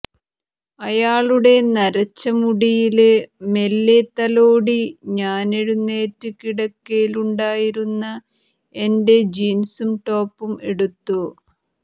അയാളുടെ നരച്ച മുടിയില് മെല്ലെ തലോടി ഞാനെഴുന്നേറ്റ് കിടക്കയിലുണ്ടായിരുന്ന എന്റെ ജീന്സും ടോപ്പും എടുത്തു